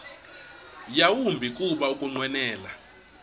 yawumbi kuba ukunqwenela